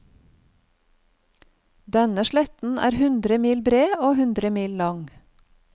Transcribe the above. Denne sletten er hundre mil bred og hundre mil lang.